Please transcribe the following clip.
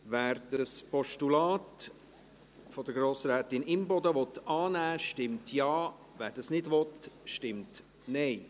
Wer das Postulat von Grossrätin Imboden annehmen will, stimmt Ja, wer dies nicht will, stimmt Nein.